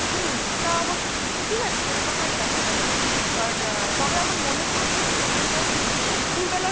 হম তা অবশ্য ঠিকআছে সেটা হয়ে দেখা যাবে But তবে আমার মনেহয় যে তোর দুফুরবেলা